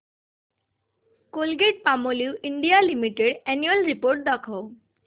Colgate Palmolive India Limited annual report दाखव